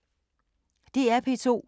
DR P2